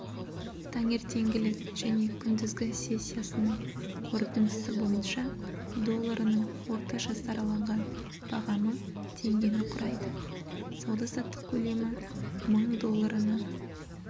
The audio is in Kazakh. таңертеңгілік және күндізгі сессиясының қорытындысы бойынша долларының орташа сараланған бағамы теңгені құрайды сауда-саттық көлемі мың долларына